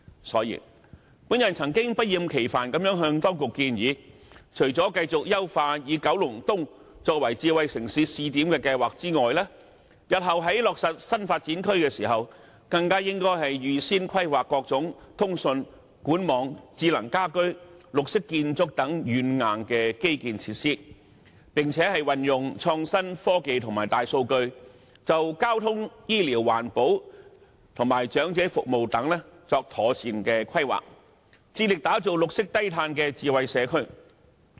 所以，我曾經不厭其煩地向當局建議，除了繼續優化以九龍東作為智慧城市試點的計劃外，日後在落實新發展區計劃時，更應該預先規劃各種通訊、管網、智能家居及綠色建築等軟硬基建設施，並運用創新科技和大數據，就交通、醫療、環保和長者服務等作妥善規劃，致力打造綠色低碳智慧社區。